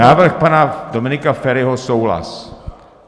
Návrh pana Dominika Feriho - souhlas.